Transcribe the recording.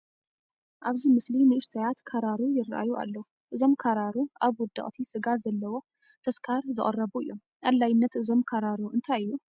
ኣብዚ ምስሊ ንኡሽተያት ካራሩ ይርአዩ ኣለዉ፡፡ እዞም ካራሩ ኣብ ውድቕቲ ስጋ ዘለዎ ተስካር ይዝቐርቡ እዮም፡፡ ኣድላይነት እዞም ካራሩ እንታይ እዩ?